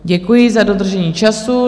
Děkuji za dodržení času.